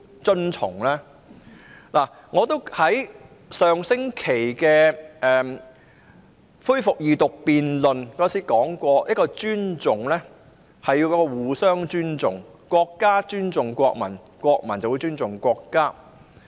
正如我在上星期恢復二讀辯論時提出，尊重是雙方的，是要互相尊重的，國家尊重國民，國民便會尊重國家。